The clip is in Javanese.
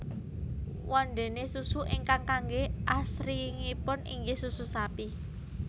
Wondéné susu ingkang kanggé asringipun inggih susu sapi